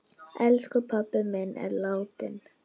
Elsku pabbi minn er látinn.